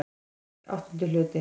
VIII Hluti